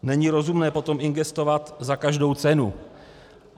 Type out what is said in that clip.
Není rozumné potom investovat za každou cenu.